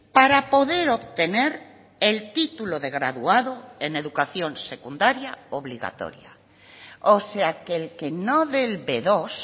para poder obtener el título de graduado en educación secundaria obligatoria o sea que el que no dé el be dos